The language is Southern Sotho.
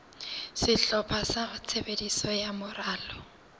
sehlopha sa tshebetso sa moralo